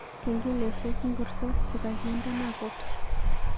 Kengeleshek ngircho chegagindeno kot